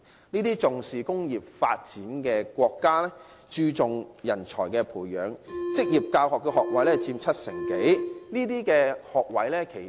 這些重視工業發展的國家，注重人才培養，職業教育學位佔整體學位七成多。